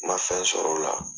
N ma fɛn sɔrɔ o la.